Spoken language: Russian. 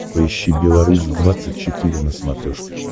поищи белорусь двадцать четыре на смотрешке